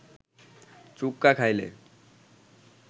chukka খাইলে